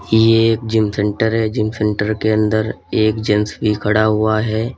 ये एक gym centre है जिम सेंटर के अंदर एक जेंट्स भी खड़ा हुआ है।